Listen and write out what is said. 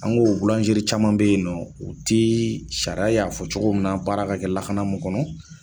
An ko caman bɛ ye nɔ o tɛ sariya y'a fɔ cogo min na baara ka kɛ lakana mun kɔnɔ.